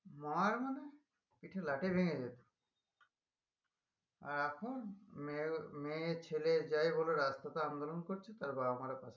মার মানে পিঠে লাথি ভেঙে যেত